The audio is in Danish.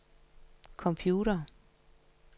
computere